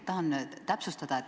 Ma tahan täpsustada.